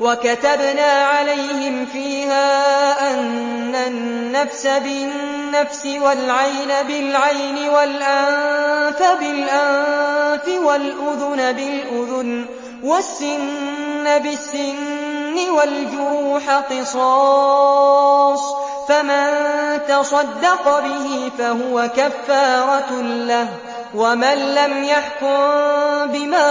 وَكَتَبْنَا عَلَيْهِمْ فِيهَا أَنَّ النَّفْسَ بِالنَّفْسِ وَالْعَيْنَ بِالْعَيْنِ وَالْأَنفَ بِالْأَنفِ وَالْأُذُنَ بِالْأُذُنِ وَالسِّنَّ بِالسِّنِّ وَالْجُرُوحَ قِصَاصٌ ۚ فَمَن تَصَدَّقَ بِهِ فَهُوَ كَفَّارَةٌ لَّهُ ۚ وَمَن لَّمْ يَحْكُم بِمَا